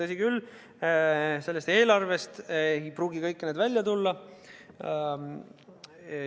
Tõsi küll, sellest eelarvest ei pruugi kõik need välja tulla.